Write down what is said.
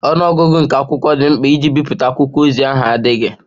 Ọnụ ọgụgụ nke akwụkwọ dị mkpa iji bipụta akwụkwọ ozi ahụ adịghị.